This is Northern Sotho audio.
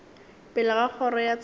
pele ga kgoro ya tsheko